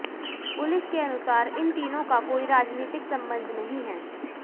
police के अनुसार इन तीनों का कोई राजनीतिक संबंध नहीं है